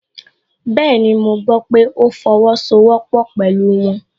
Bẹ́ẹ̀ni, mo gbọ́ pé ó fọwọ́sowọ́pọ́ pẹ̀lú wọn